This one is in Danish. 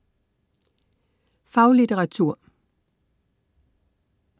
Faglitteratur